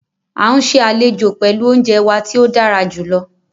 Á n ṣè alẹ́jo pẹ̀lú ọ̀unjẹ wà tí o dàrá júlọ